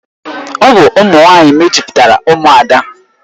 Ọ bụ ụmụ nwanyị mejupụtara Umuada.